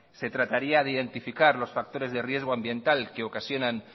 se trataría de identificar los factores de riesgo ambiental que ocasionan